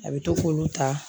A bɛ to k'olu ta